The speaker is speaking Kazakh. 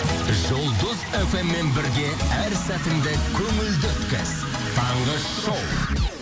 жұлдыз фм мен бірге әр сәтіңді көңілді өткіз таңғы шоу